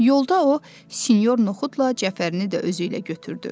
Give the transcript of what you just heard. Yolda o sinyor Noxudla Cəfərini də özü ilə götürdü.